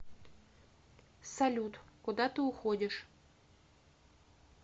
салют куда ты уходишь